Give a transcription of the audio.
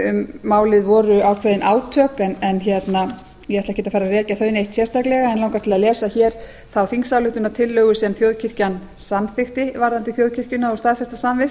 um málið voru ákveðin átök en ég ætla ekkert að fara að rekja þau neitt sérstaklega en langar til að lesa hér þá þingsályktunartillögu sem þjóðkirkjan samþykkti varðandi þjóðkirkjuna og staðfesta samvist